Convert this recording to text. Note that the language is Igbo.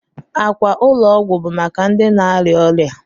Ákwà ụlọ ọgwụ bụ maka ndị na-arịa ọrịa.